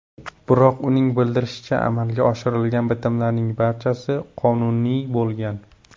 Biroq, uning bildirishicha, amalga oshirilgan bitimlarning barchasi qonuniy bo‘lgan.